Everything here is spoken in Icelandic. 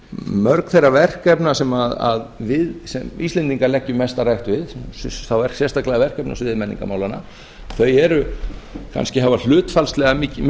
mörg þeirra verkefna sem við íslendingar leggjum mesta rækt við þá sérstaklega verkefni á sviði menningarmálanna þau kannski hafa hlutfallslega